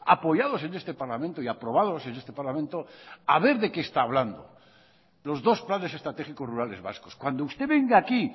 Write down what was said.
apoyados en este parlamento y aprobados en este parlamento a ver de qué está hablando los dos planes estratégicos rurales vascos cuando usted venga aquí